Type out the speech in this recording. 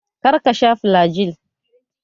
Kar ka sha falagil!